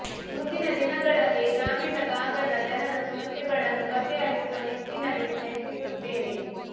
ಮುಂದಿನ ದಿನಗಳಲ್ಲಿ ಗ್ರಾಮೀಣ ಭಾಗದ ಜನರ ಸಮಸ್ಯೆಗಳನ್ನು ಬಗೆಹರಿಸುವ ನಿಟ್ಟಿನಲ್ಲಿ ಪ್ರಯತ್ನಿಸುತ್ತೇನೆ